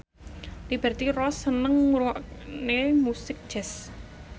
Liberty Ross seneng ngrungokne musik jazz